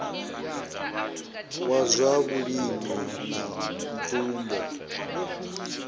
wa zwa vhulimi na mvumbo